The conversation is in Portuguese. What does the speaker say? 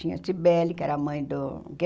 Tinha a Cibele, que era mãe do que